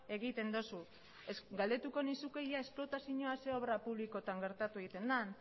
egiten duzu galdetuko nizuke ia esplotazioa ze obra publikotan gertatu egiten den